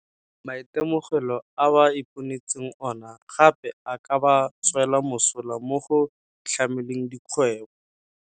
Maitemogelo a ba iponetseng ona gape a ka ba tswela mosola mo go itlhameleng dikgwebo.